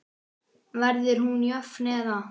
Verður hún jöfn eða?